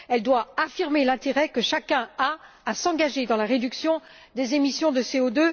Elle doit affirmer l'intérêt que chacun a à s'engager, sans attendre, dans la réduction des émissions de CO